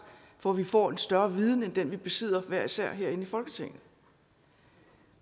så vi kan få en større viden end den vi besidder hver især herinde i folketinget